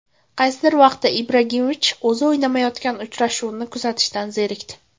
Qaysidir vaqtda Ibragimovich o‘zi o‘ynamayotgan uchrashuvni kuzatishdan zerikdi.